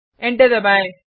enter दबाएँ